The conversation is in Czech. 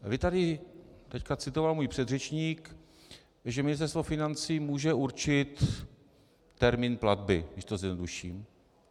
Vy tady - teď citoval můj předřečník, že Ministerstvo financí může určit termín platby, když to zjednoduším.